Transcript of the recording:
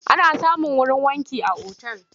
Ana samun wurin wanki a otal.